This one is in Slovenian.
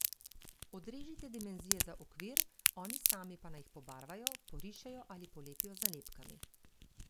Odrežite dimenzije za okvir, oni sami pa naj jih pobarvajo, porišejo ali polepijo z nalepkami.